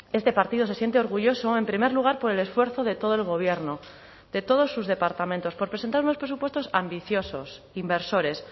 este partido se siente orgulloso en primer lugar por el esfuerzo de todo el gobierno de todos sus departamentos por presentar unos presupuestos ambiciosos inversores